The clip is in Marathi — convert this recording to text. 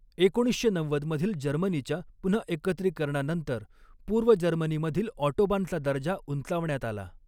एकोणीसशे नव्वद मधील जर्मनीच्या पुनहएकत्रीकरणानंतर पूर्व जर्मनीमधील ऑटोबानचा दर्जा उंचावण्यात आला.